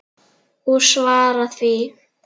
Og svara því.